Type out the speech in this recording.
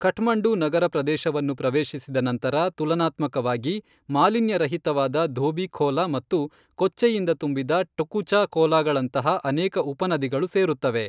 ಕಠ್ಮಂಡು ನಗರ ಪ್ರದೇಶವನ್ನು ಪ್ರವೇಶಿಸಿದ ನಂತರ ತುಲನಾತ್ಮಕವಾಗಿ ಮಾಲಿನ್ಯರಹಿತವಾದ ಧೋಬಿ ಖೋಲಾ ಮತ್ತು ಕೊಚ್ಚೆಯಿಂದ ತುಂಬಿದ ಟುಕುಚಾ ಖೋಲಾಗಳಂತಹ ಅನೇಕ ಉಪನದಿಗಳು ಸೇರುತ್ತವೆ.